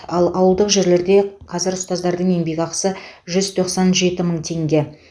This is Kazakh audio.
ал ауылдық жерлерде қазір ұстаздардың еңбекақысы жүз тоқсан жеті мың теңге